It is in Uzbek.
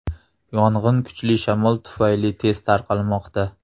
Yong‘in kuchli shamol tufayli tez tarqalmoqda.